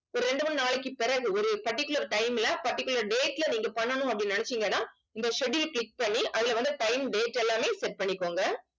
ரெண்டு மூணு நாளைக்கு பிறகு ஒரு particular time ல particular date ல நீங்க பண்ணணும் அப்படின்னு நினைச்சீங்கன்னா இந்த schedule click பண்ணி அதுல வந்து time date எல்லாமே set பண்ணிக்கோங்க